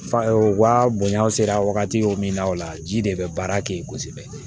Fa wa bonya sera wagati o min na o la ji de bɛ baara kɛ yen kosɛbɛ